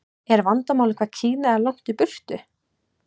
Er vandamálið hvað Kína er langt í burtu?